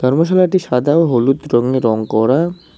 সাদা ও হলুদ রঙের রং করা।